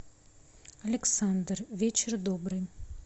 александр вечер добрый